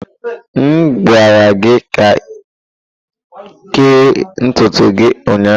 M gwara gị ka kee ntutu gị ụnyaahụ!